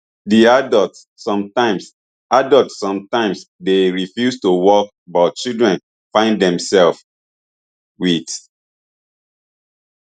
di adults sometimes adults sometimes dey refuse to work but children find demselves wit